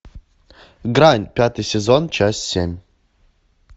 грань пятый сезон часть семь